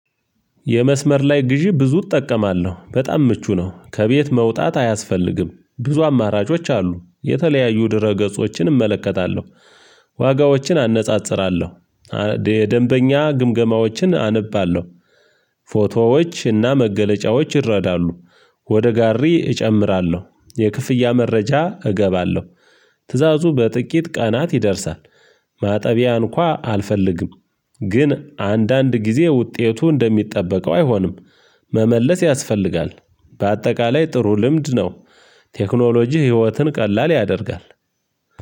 የመስመር ላይ ግዢ ብዙ እጠቀማለሁ በጣም ምቹ ነው ከቤት መውጣት አያስፈልግም ብዙ አማራጮች አሉ የተለያዩ ድረ ገጾችን እመለከታለሁ ዋጋዎችን አነጻጽራለሁ። ደንበኛ ግምገማዎችን አነባለሁ ፎቶዎች እና መገለጫዎች ይረዳሉ። ወደ ጋሪ እጨምራለሁ የክፍያ መረጃ እገባለሁ። ትእዛዙ በጥቂት ቀናት ይደርሳል። ማጠቢያ እንኳን አልፈልግም። ግን አንዳንድ ጊዜ ውጤቱ እንደሚጠበቀው አይሆንም። መመለስ ያስፈልጋል። በአጠቃላይ ጥሩ ልምድ ነው። ቴክኖሎጂ ህይወትን ቀላል ያደርጋል።